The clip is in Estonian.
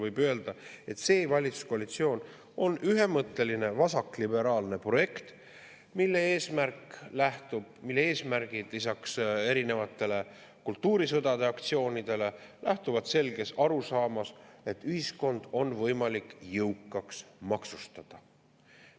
Võib öelda, et see valitsuskoalitsioon on ühemõtteline vasakliberaalne projekt, mille eesmärgid lisaks erinevatele kultuurisõdade aktsioonidele lähtuvad selgest arusaamast, et ühiskond on võimalik jõukaks maksustada.